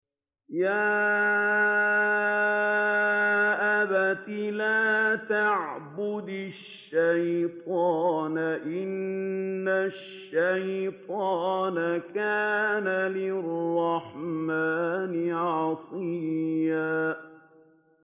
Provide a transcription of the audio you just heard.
يَا أَبَتِ لَا تَعْبُدِ الشَّيْطَانَ ۖ إِنَّ الشَّيْطَانَ كَانَ لِلرَّحْمَٰنِ عَصِيًّا